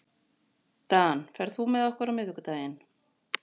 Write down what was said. Dan, ferð þú með okkur á miðvikudaginn?